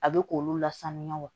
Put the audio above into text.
A bɛ k'olu lasaniya wa